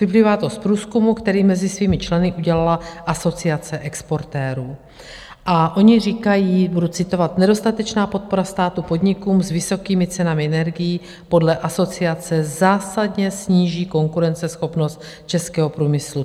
Vyplývá to z průzkumu, který mezi svými členy udělala Asociace exportérů a oni říkají, budu citovat: "Nedostatečná podpora státu podnikům s vysokými cenami energií podle Asociace zásadně sníží konkurenceschopnost českého průmyslu.